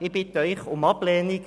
Ich bitte Sie um Ablehnung.